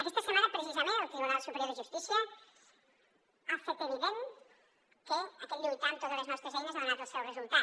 aquesta setmana precisament el tribunal superior de justícia ha fet evident que aquest lluitar amb totes les nostres eines ha donat el seu resultat